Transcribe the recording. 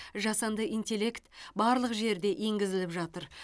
жасанды интеллект барлық жерде енгізіліп жатыр